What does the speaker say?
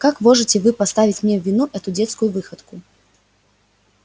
как можете вы ставить мне в вину эту детскую выходку